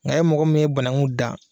Nka e mɔgɔ min ye banakun da